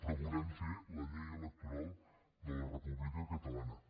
però volem fer la llei electoral de la república catalana